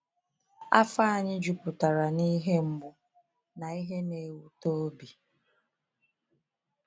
Afọ anyị juputara n’‘ihe mgbu na ihe na-ewute obi.’